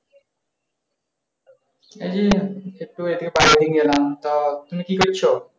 এই একটু বাইরে এলাম। তো তুমি কি করছো?